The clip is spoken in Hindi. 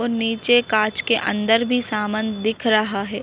और नीचे कांच के अंदर भी समान दिख रहा है।